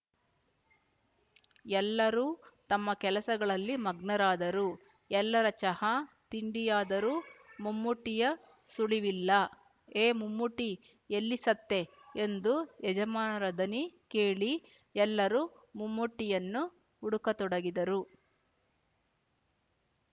ಎಲ್ಲರೂ ತಮ್ಮ ಕೆಲಸಗಳಲ್ಲಿ ಮಗ್ನರಾದರು ಎಲ್ಲರ ಚಹಾ ತಿಂಡಿಯಾದರೂ ಮುಮ್ಮೂಟಿಯ ಸುಳಿವಿಲ್ಲ ಏ ಮುಮ್ಮೂಟೀ ಎಲ್ಲಿ ಸತ್ತೇ ಎಂಬ ಯಜಮಾನರ ದನಿ ಕೇಳಿ ಎಲ್ಲರೂ ಮುಮ್ಮೂಟಿಯನ್ನು ಹುಡುಕತೊಡಗಿದರು